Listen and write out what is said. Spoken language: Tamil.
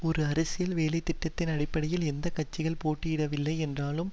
ஒரு அரசியல் வேலைதிட்டத்தின் அடிப்படையில் எந்த கட்சிகல் போட்டியிடவில்லை என்றாலும்